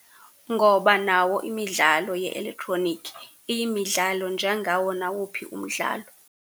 Ngoba nawo imidlalo ye-elektroniki iyimidlalo njengawo nawuphi umdlalo.